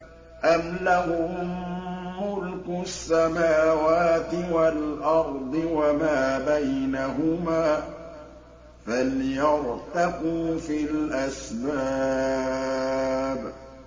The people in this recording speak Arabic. أَمْ لَهُم مُّلْكُ السَّمَاوَاتِ وَالْأَرْضِ وَمَا بَيْنَهُمَا ۖ فَلْيَرْتَقُوا فِي الْأَسْبَابِ